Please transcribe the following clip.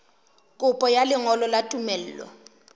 kopo ya lengolo la tumello